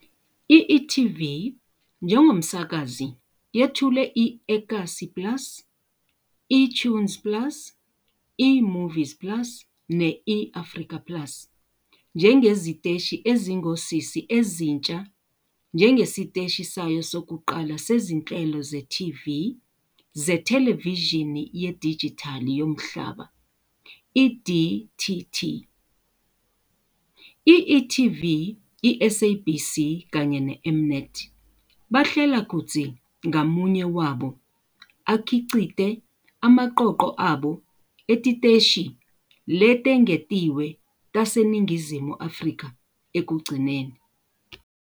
I-e.tv njengomsakazi yethule i-eKasi plus, eToonz plus, eMovies plus ne-eAfrica plus njengeziteshi ezingosisi ezintsha njengesiteshi sayo sokuqala sezinhlelo ze-TV zethelevishini yedijithali yomhlaba, i-DTT. I-e.tv, i-SABC kanye ne-M-Net bahlela kutsi ngamunye wabo akhicite emaqoqo abo etiteshi letengetiwe taseNingizimu Afrika ekugcineni.